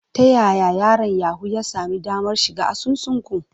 Ta yaya yaron Yahoo ya sami damar shiga asusun ku?